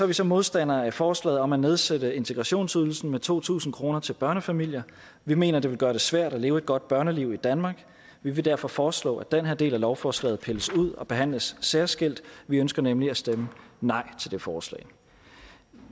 vi så modstandere af forslaget om at nedsætte integrationsydelsen med to tusind kroner til børnefamilier vi mener det vil gøre det svært at leve et godt børneliv i danmark vi vil derfor foreslå at den her del af lovforslaget pilles ud og behandles særskilt vi ønsker nemlig at stemme nej til det forslag